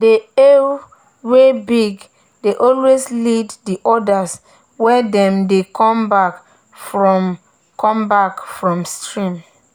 the eww wey big dey always lead the others when dem dey come back from come back from stream.